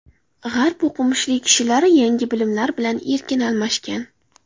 G‘arb o‘qimishli kishilari yangi bilimlar bilan erkin almashgan.